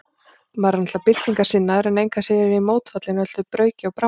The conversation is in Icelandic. Maður er náttúrlega byltingarsinnaður, en engu að síður er ég mótfallinn öllu brauki og bramli.